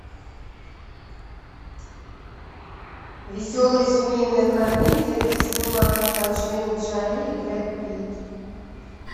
веселая семейная комедия где снимается анджелина джоли и брэд питт